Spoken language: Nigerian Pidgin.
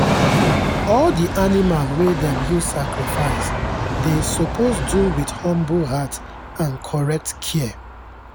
all the animal wey dem use sacrifice dey suppose do with humble heart and correct care.